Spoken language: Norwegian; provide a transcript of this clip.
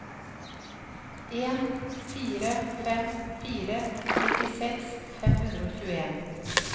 en fire fem fire nittiseks fem hundre og tjueen